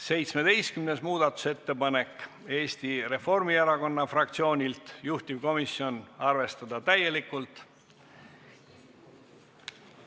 17. muudatusettepanek Eesti Reformierakonna fraktsioonilt, juhtivkomisjon: arvestada täielikult.